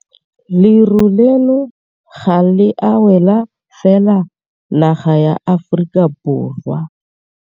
Leru leno ga le a wela fela naga ya Aforika Borwa.